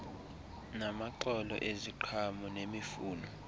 namaxolo eziqhamo nemifuno